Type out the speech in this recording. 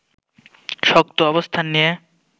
শক্ত অবস্থান নিয়ে